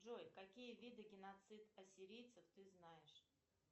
джой какие виды геноцид ассирийцев ты знаешь